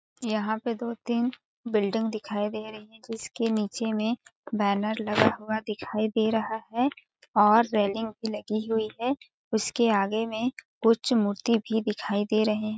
यहाँ एक दो -तीन बिल्डिंग दिखाई दे रही है जिसके नीचे में बैनर लगा हुआ दिखाई दे रहा है और रेलिंग भी लगी हुई है उसके आगे में कुछ मूर्ति भी दिखाई दे रहे --